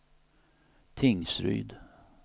Tingsryd